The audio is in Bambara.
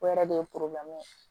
O yɛrɛ de ye ye